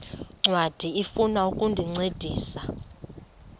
ncwadi ifuna ukukuncedisa